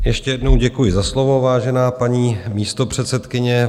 Ještě jednou děkuji za slovo, vážená paní místopředsedkyně.